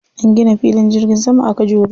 An gina filin jirgin sama a Kajuru.